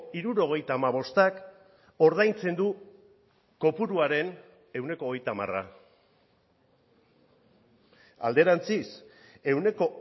hirurogeita hamabostak ordaintzen du kopuruaren ehuneko hogeita hamara alderantziz ehuneko